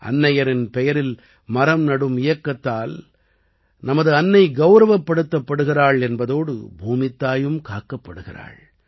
அன்னையின் பெயரில் மரம் நடும் இயக்கத்தால் நமது அன்னை கௌரவப்படுத்தப்படுகிறாள் என்பதோடு பூமித்தாயும் காக்கப்படுகிறாள்